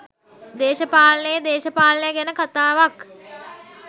දේශපාලනයේ දේශපාලනය ගැන කතාවක්.